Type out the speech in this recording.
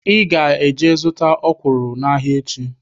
Ị ga-eje zụta ọkwụrụ n'ahịa echi!